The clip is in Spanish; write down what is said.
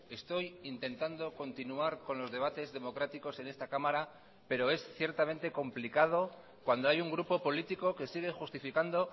estoy intentando continuar con los debates democráticos en esta cámara pero es ciertamente complicado cuando hay un grupo político que sigue justificando